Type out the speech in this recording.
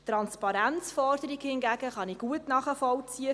Die Transparenzforderung hingegen kann ich gut nachvollziehen.